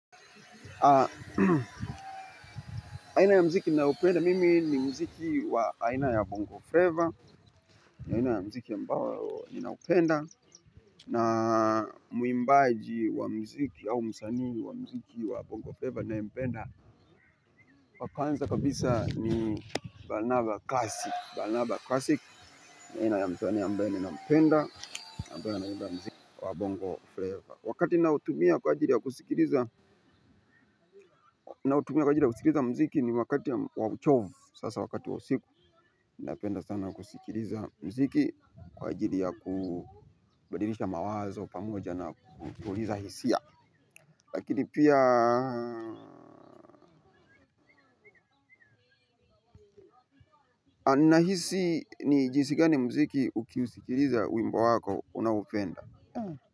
Aina ya muziki ninaopenda mimi ni muziki wa aina ya bongo flavor aina ya muziki ambao ninaupenda na mwimbaji wa muziki au msanii wa muziki wa bongo flavor ninayempenda wa kwanza kabisa ni Barnaba classic Barnaba classic ni aina ya msanii ambaye ninampenda ambaye anaiba muziki wa bongo flavor. Wakati naotumia kwa ajili ya kusikiliza na utumia kwa ajili ya kusikiliza muziki ni wakati wa uchovu sasa wakati wa usiku. Napenda sana kusikiliza muziki kwa ajili ya kubadilisha mawazo pamoja na kutuliza hisia. Lakini pia nahisi ni jinsi gani muziki ukiusikiliza wimbo wako unaoupenda.